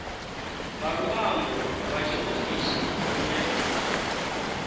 nga luambo lwa tshiofisi lune